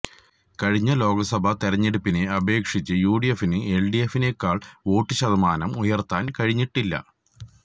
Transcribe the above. കഴിഞ്ഞ ലോക്സഭാ തെരഞ്ഞെടുപ്പിനെ അപേക്ഷിച്ച് യുഡിഎഫിന് എല്ഡിഎഫിനേക്കാള് വോട്ട് ശതമാനം ഉയര്ത്താന് കഴിഞ്ഞിട്ടില്ല